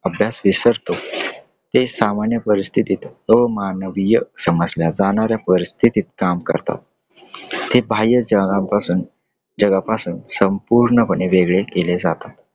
अभ्यास हि फसतो. ते सामान्य परिस्थितीत अमानवीय समजल्या जाणाऱ्या परिस्थितीत काम करतात . ते बाह्यजगापासून जगापासून संपूर्णपणे वेगळे केले जातात.